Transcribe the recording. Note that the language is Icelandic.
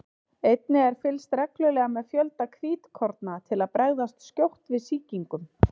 einnig er fylgst reglulega með fjölda hvítkorna til að bregðast skjótt við sýkingum